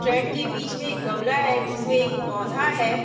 Track के बीच में एक गमला है जिसमें एक पौधा है।